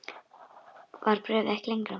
Var bréfið ekki lengra?